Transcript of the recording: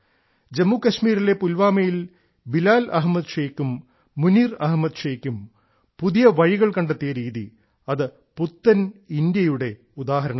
ജമ്മുകാശ്മീരിലെ പുൽവാമയിൽ ബിലാൽ അഹമ്മദ് ശൈഖും മുനീർ അഹമ്മദ് ശൈഖും പുതിയ വഴികൾ കണ്ടെത്തിയ രീതി അത് പുത്തൻ ഇന്ത്യ യുടെ ഉദാഹരണമാണ്